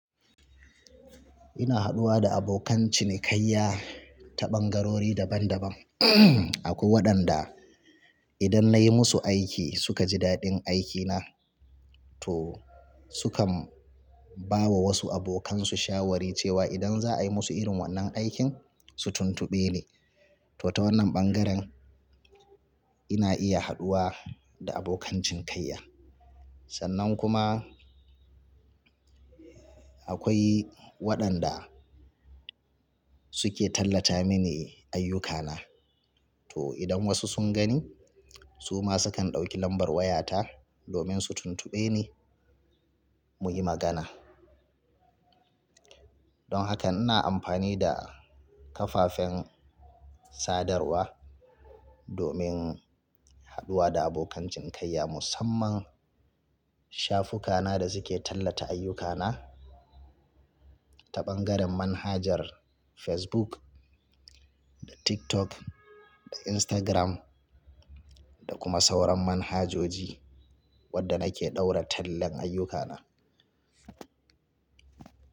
Ina haɗuwa da abokan cinikayya ta ɓangarori daban-daban. Akwai waɗanda idan nayi musu aiki suka ji daɗin aikina to sukan ba wa wasu abokansu shawari cewa idan za a yi musu irin wannan aikin su tuntuɓe ni. To ta wannan ɓangaren ina iya haɗuwa da abokan cinikayya. Sannan kuma akwai waɗanda suke tallata mini ayyukana to idan wasu sun gani su ma sukan ɗauki lambar wayata domin su tuntube ni mu yi magana. Don hakan ina amfani da kafafen sadarwa domin haɗuwa da abokan cinikayya musamman shafukana da suke tallata ayyukana ta ɓangaren manhajar Facebook da TikTok da Instagram da kuma sauran manhajoji wadda nake ɗaura tallan ayyuka na.